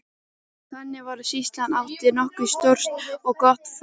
Þannig var að sýslan átti nokkuð stórt og gott fangahús.